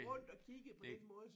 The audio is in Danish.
Rundt og kigge på den måde